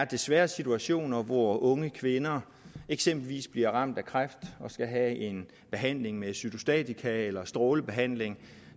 desværre er situationer hvor unge kvinder eksempelvis bliver ramt af kræft og skal have behandling med cytostatika eller strålebehandling